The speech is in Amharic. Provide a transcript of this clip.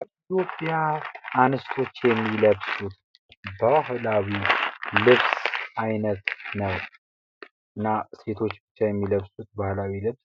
የኢትዮጵያ አንስቶች የሚለበሱት ባህላዊ ልብስ አይነት ነው። እና ሴቶች ብቻ የሚለብሱት ባህላዊ ልብስ